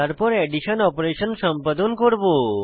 তারপর addition operation সম্পাদন করব